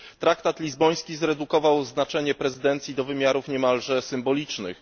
Traktat lizboński zredukował znaczenie prezydencji do wymiarów niemalże symbolicznych.